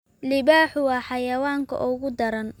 Libaaxu waa xayawaanka ugu daran.